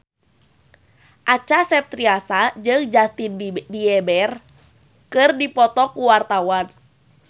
Acha Septriasa jeung Justin Beiber keur dipoto ku wartawan